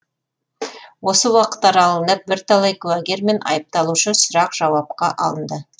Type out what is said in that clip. осы уақыт аралығында бірталай куәгер мен айыпталушы сұрақ жауапқа алынды